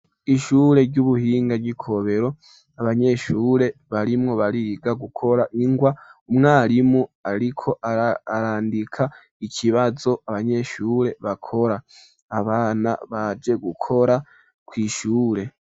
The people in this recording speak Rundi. ishure ry'ubuhinga ry'ikobero abanyeshure barimwo bariga gukora ingwa umwarimu ariko arandika ikibazo abanyeshure bakora abana baje gukora kw,ishure